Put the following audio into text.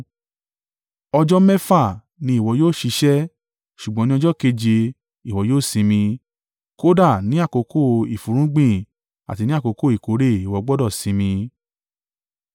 “Ọjọ́ mẹ́fà ni ìwọ yóò ṣiṣẹ́, ṣùgbọ́n ní ọjọ́ keje ìwọ yóò sinmi; kódà ní àkókò ìfúnrúgbìn àti ní àkókò ìkórè ìwọ gbọdọ̀ sinmi.